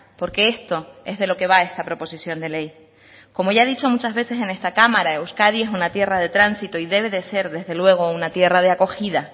porque esto es de lo que va esta proposición de ley como ya he dicho muchas veces en esta cámara euskadi es una tierra de tránsito y debe de ser desde luego una tierra de acogida